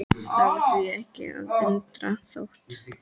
Það var því ekki að undra þótt